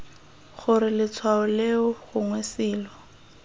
gore letshwao leo gongwe selo